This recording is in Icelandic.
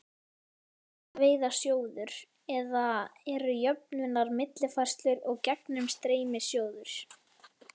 Fiskveiðasjóður, eða eru jöfnunar-, millifærslu- og gegnumstreymissjóðir.